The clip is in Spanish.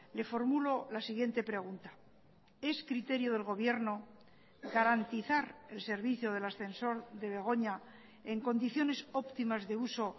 le formulo la siguiente pregunta es criterio del gobierno garantizar el servicio del ascensor de begoña en condiciones óptimas de uso